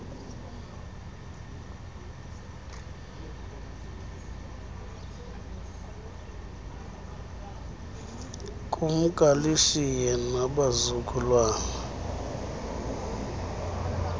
kumka lishiye nabazukulwana